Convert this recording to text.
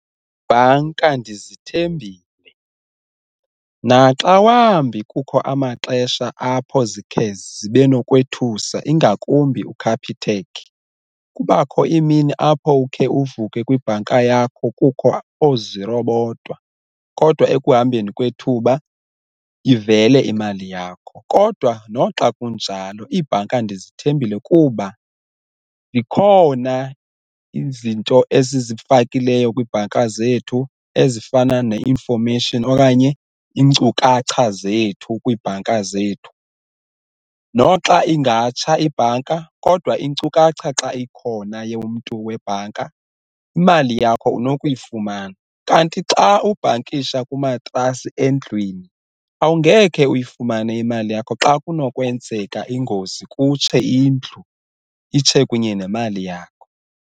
Iibhanka ndizithembile naxa wambi kukho amaxesha apho zikhe zibe nokwethusa ingakumbi uCapitec kubakho iimini apho ukhe uvuke kwibhanka yakho kukho ooziro bodwa kodwa ekuhambeni kwethuba ivele imali yakho. Kodwa noxa kunjalo iibhanka ndizithembile kuba zikhona izinto esizifakileyo kwiibhanka zethu ezifana ne-information okanye iinkcukacha zethu kwiibhanka zethu, noxa ingatsha ibhanka kodwa inkcukacha xa ikhona yomntu webhanka imali yakho unokuyifumana. Kanti xa ubhankisha kumatrasi endlwini awungeke uyifumane imali yakho xa kunokwenzeka ingozi kutshe indlu, itshe kunye nemali yakho.